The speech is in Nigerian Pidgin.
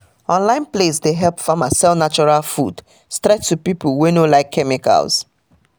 online place dey help farmer sell natural food straight to people wey no like chemicals